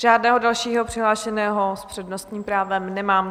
Žádného dalšího přihlášeného s přednostním právem nemám.